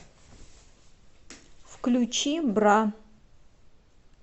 включи бра